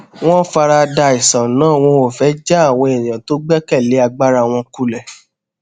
wón farada àìsàn náà wọn ò fé já àwọn èèyàn tó gbékè lé agbára wọn kulè